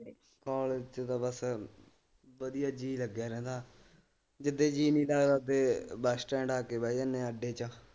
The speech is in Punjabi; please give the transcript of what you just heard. ਕੋਲਜ ਚ ਤਾਂ ਬਸ ਵਧੀਆ ਜੀ ਲਗਿਆ ਰਹਿੰਦਾ ਜਿਦੇ ਜੀ ਨਹੀਂ ਲਗਦਾ ਓਦੇ ਬਸ ਸਟੈਂਡ ਆ ਕੇ ਬੈ ਜਾਣੇ ਆ ਅੱਡੇ ਚ।